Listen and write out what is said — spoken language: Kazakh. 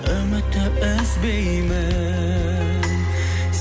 үмітті үзбеймін